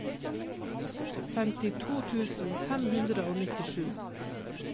femtito tusen fem hundre og nittisju